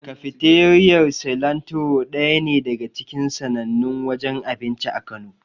Kafiteriyar Silantiro daya ne daga cikin sannannun wajen abinci a Kano.